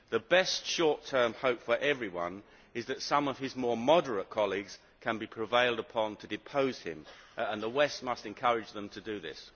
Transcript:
The best short term hope for everyone is that some of his more moderate colleagues can be prevailed upon to depose him, and the West must encourage them to do this.